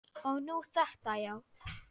Og nú þetta, já.